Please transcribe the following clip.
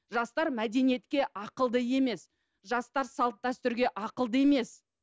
жастар мәдениетке ақылды емес жастар салт дәстүрге ақылды емес